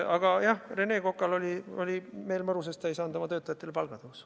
Aga jah, Rene Kokal oli meel mõru, sest ta ei saanud oma töötajatele palgatõusu.